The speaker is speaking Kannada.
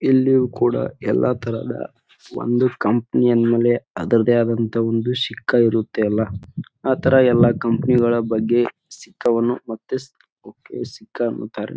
ಇಲ್ಲಿಯೂ ಕೂಡ ಎಲ್ಲ ತರಹದ ಒಂದು ಕಂಪನಿ ಯನ್ ಮೇಲೆ ಅದ್ರದೆ ಆದಂತಹ ಒಂದು ಶಿಖ್ಖ ಇರುತ್ತೆ ಅಲ್ಲ ಆ ತರ ಎಲ್ಲ ಕಂಪನಿ ಗಳ ಬಗ್ಗೆ ಶಿಖ್ಖವನ್ನು ಮತ್ತೆ ಶಿಖ್ಖ ಅನ್ನುತ್ತಾರೆ.